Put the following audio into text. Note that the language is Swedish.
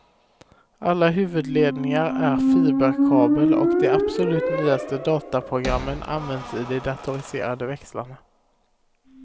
Alla huvudledningar är fiberkabel och de absolut nyaste dataprogrammen används i de datoriserade växlarna.